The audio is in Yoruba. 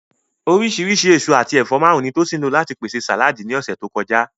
Oríṣìíríṣìí èso àti ẹ̀fọ́ márùn-ún ni Tosin lò láti pèsè sàláàdì ní ọ̀sẹ̀ tó kọjá.